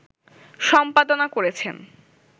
সম্পাদনা করেছেন